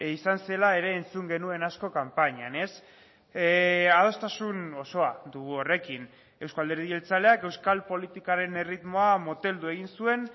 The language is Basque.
izan zela ere entzun genuen asko kanpainan adostasun osoa dugu horrekin euzko alderdi jeltzaleak euskal politikaren erritmoa moteldu egin zuen